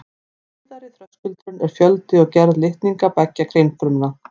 Síðari þröskuldurinn er fjöldi og gerð litninga beggja kynfruma.